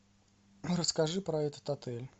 расскажи про этот отель